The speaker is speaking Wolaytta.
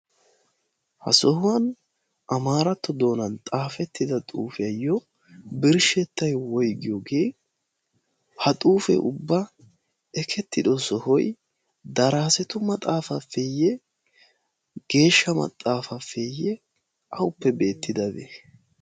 ha sohuwaan amaaratto doonan xaafettida xuufiyaayo birshshettay woygiyoogee? ha xuufee ubba ekketido soohoy daraasettu maxafafaafeye geeshsha maxaafafeye? awuppe beettidabee?